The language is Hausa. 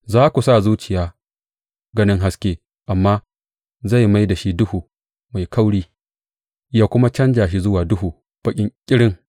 Za ku sa zuciya ganin haske amma zai mai da shi duhu mai kauri ya kuma canja shi zuwa duhu baƙi ƙirin.